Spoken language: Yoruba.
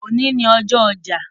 Èní ni ọjọ́ ọjà